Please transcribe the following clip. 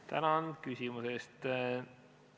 Tänan küsimuse eest!